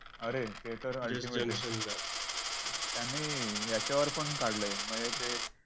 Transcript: अरे ते तर ultimate च त्यांनी ह्याच्यावर पण काढलंय म्हणजे ते